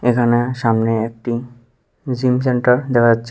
এখানে সামনে একটি জিম সেন্টার দেখা যাচ্ছে।